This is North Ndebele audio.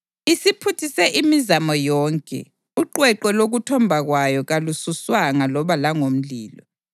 Isiphuthise imizamo yonke; uqweqwe lokuthomba kwayo kalususwanga, loba langomlilo.